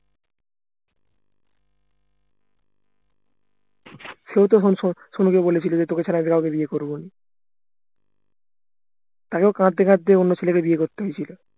সেও তখন কে বলেছিলো যে তোকে ছাড়া আমি কাউকে বিয়ে করবোনা তাকেও কাঁদতে কাঁদতে অন্য ছেলেকে বিয়ে করতে হয়েছিল